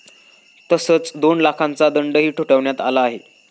तसंच दोन लाखांचा दंडही ठोठावण्यात आला आहे.